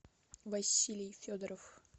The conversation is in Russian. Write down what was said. василий федоров